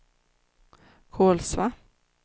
Kolsva